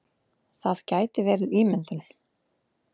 Það gæti verið ímyndun.